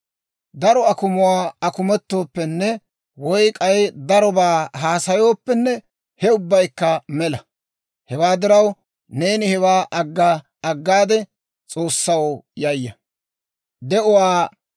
Daro akumuwaa akumettooppenne woy k'ay darobaa haasayooppenne he ubbaykka mela; hewaa diraw, neeni hewaa agga agaade S'oossaw yayya.